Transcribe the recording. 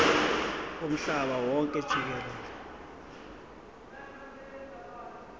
womhlaba wonke jikelele